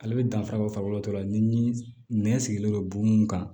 Ale bɛ danfara bɔ farikolo tɔ la ni nɛn sigilen don bon mun kan